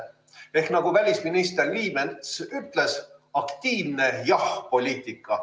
Ehk nagu välisminister Liimets ütles, aktiivne jah-poliitika.